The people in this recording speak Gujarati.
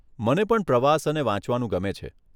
મને પણ પ્રવાસ અને વાંચવાનું ગમે છે.